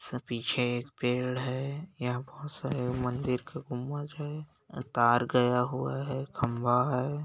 इसके पीछे एक पेड़ है यहाँ बहुत सारे मंदिर के गुंबज है तार गया हुआ है खम्बा है।